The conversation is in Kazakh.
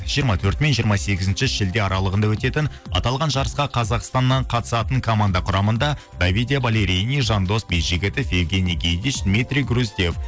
жиырма төрті мен жиырма сегізінші шілде аралығында өтетін аталған жарысқа қазақстаннан қатысатын команда құрамында давидия балерини жандос бейжігітов евгений гедиш дмитрий грустев